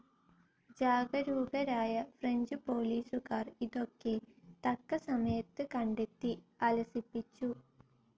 ജാഗരൂകരായ French പോലീസുകാർ ഇതൊക്കെ തക്ക സമയത്ത് കണ്ടെത്തി, അലസിപ്പിച്ചു,.